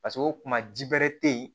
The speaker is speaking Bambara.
Paseke o kuma ji bɛrɛ tɛ yen